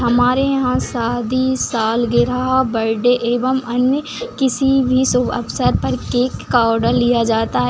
हमारे यहाँ शादी सालगिरह बर्थडे एवं अन्य किसी भी शुभ अवसर पर केक का ऑर्डर लिया जाता है।